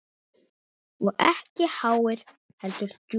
Og ekki háir, heldur djúpir.